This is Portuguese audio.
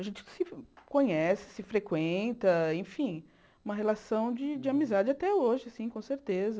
A gente se conhece, se frequenta, enfim, uma relação de de amizade até hoje, sim, com certeza.